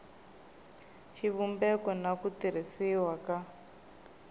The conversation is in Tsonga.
xivumbeko na ku tirhisiwa ka